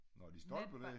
Nå det stolper dér?